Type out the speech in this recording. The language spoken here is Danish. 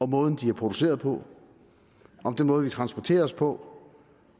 måde de er produceret på om den måde vi transporter os på